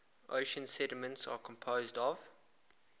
ocean sediments are composed of